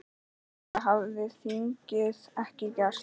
Það hefði þingið ekki gert.